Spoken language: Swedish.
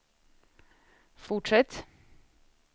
fortsätt